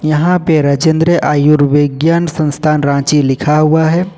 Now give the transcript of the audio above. यहां पे राजेंद्र आयुर्विज्ञान संस्थान रांची लिखा हुआ है।